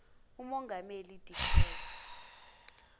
umongameli de klerk